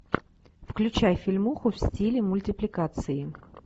включай фильмуху в стиле мультипликации